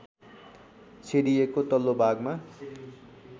छेडिएको तल्लो भागमा